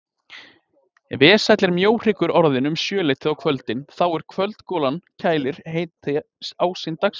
Vesæll er mjóhryggurinn orðinn um sjöleytið á kvöldin þá er kvöldgolan kælir heita ásýnd dagsins.